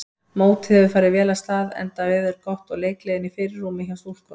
Mótið hefur farið vel af stað enda veður gott og leikgleðin í fyrirrúmi hjá stúlkunum.